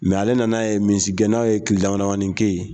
Mɛ ale nan'a ye misigɛnnaw ye kile damadɔ kɛ yen.